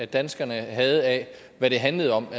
danskerne havde af hvad det handlede om